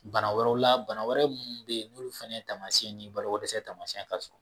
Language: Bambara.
Bana wɛrɛ la bana wɛrɛ minnu bɛ yen n'olu fana taamasiyɛn ni balokodɛsɛ taamasiyɛn ka surun